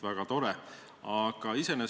Väga tore!